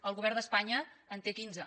el govern d’espanya en té quinze